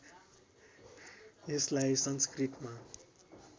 यसलाई संस्कृतमा